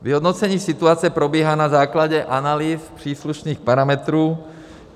Vyhodnocení situace probíhá na základě analýz příslušných parametrů.